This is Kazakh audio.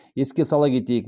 еске сала кетейік